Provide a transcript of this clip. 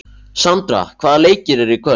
Sandra, hvaða leikir eru í kvöld?